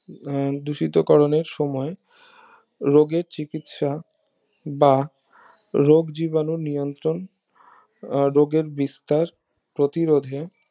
উম দূষিত করণের সময় রজার চিকিৎসা বা রোগ জীবাণু নিয়ন্ত্রণ রোগ এর বিস্তার প্রতিরোধে